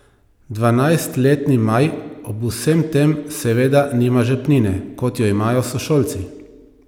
Dvanajstletni Maj ob vsem tem seveda nima žepnine, kot jo imajo sošolci.